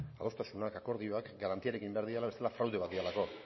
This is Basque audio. ezta adostasunak akordioak garantiarekin egin behar direla bestela fraude bat direlako